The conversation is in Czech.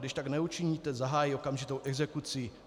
Když tak neučiníte, zahájí okamžitou exekuci.